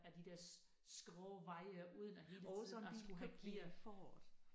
Ad de der skrå vej uden at hele tiden at skulle have gear